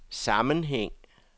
sammenhæng